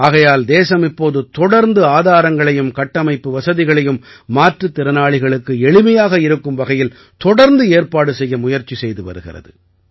ஆகையால் தேசம் இப்போது தொடர்ந்து ஆதாரங்களையும் கட்டமைப்பு வசதிகளையும் மாற்றுத் திறனாளிகளுக்கு எளிமையாக இருக்கும் வகையில் தொடர்ந்து ஏற்பாடு செய்ய முயற்சி செய்து வருகிறது